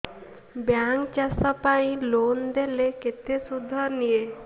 bank ଚାଷ ପାଇଁ loan ଦେଲେ କେତେ ସୁଧ ନିଏ